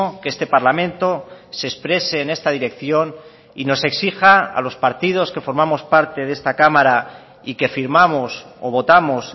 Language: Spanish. que este parlamento se exprese en esta dirección y nos exija a los partidos que formamos parte de esta cámara y que firmamos o votamos